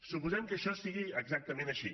suposem que això sigui exactament així